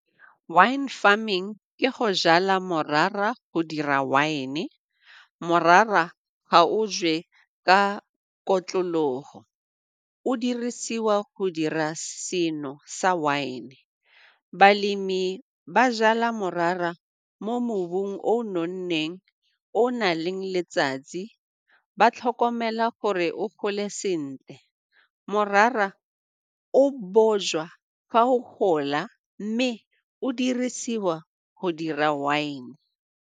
Wine farming ke go jala morara, go dira wine, morara ga o jewe ka gore o dirisiwa go dira seno sa wine. Balemi ba jala morara mo mobung o o nonneng, o o na leng letsatsi, ba tlhokomela gore o gole sentle. Morara o fa o gola mme o dirisiwa go dira wine.